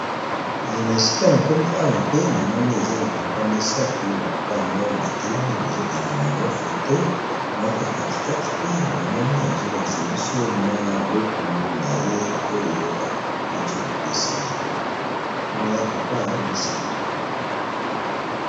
Na esika na komi awa pe na moni eza ba papa misato, ba papa yango ba telemi bazo kanga bango foto. Moko ya kati kati pe namoni azo lakisa biso mwa buku na ye oyo bawuti kopesa ye wana eza papa misato.